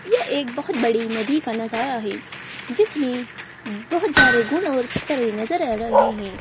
ये एक बहुत बड़ी नदी का नजारा है जिसमें बहुत ज्यादे गुड़ और पत्तरे नजर आ रहे है।